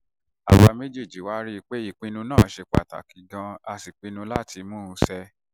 àwa méjèèjì wá rí i pé ìṣọ̀kan náà ṣe pàtàkì gan-an a sì pinnu láti tún un ṣe